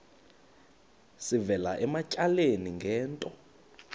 sivela ematyaleni ngento